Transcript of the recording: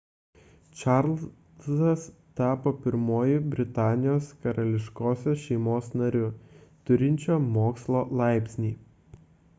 čarlzas tapo pirmuoju britanijos karališkosios šeimos nariu turinčiu mokslo laipsnį